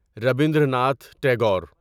Rabindranath Tagore